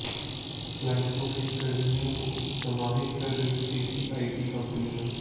क्लाइंटों के कर्मियों को समाहित कर रही देसी आईटी कंपनियां